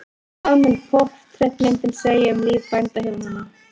Hvað mun portrettmyndin segja um líf bændahjónanna?